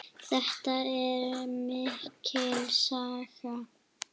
Þetta er mikil saga!